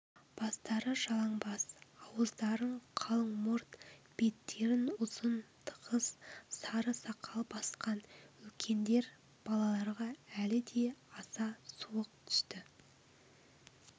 бастары жалаңбас ауыздарын қалың мұрт беттерін ұзын тығыз сары сақал басқан үлкендер балаларға әлі де аса суық түсті